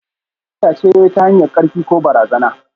Sata ce ta hanyar amfani da karfi ko barazana.